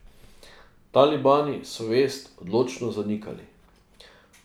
Talibani so vest odločno zanikali.